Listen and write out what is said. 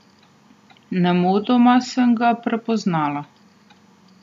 Nemudoma sem ga prepoznala.